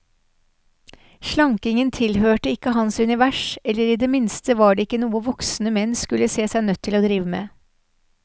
Slankingen tilhørte ikke hans univers, eller i det minste var det ikke noe voksne menn skulle se seg nødt til å drive med.